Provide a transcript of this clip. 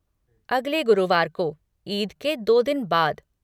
अगले गुरुवार को, ईद के दो दिन बाद।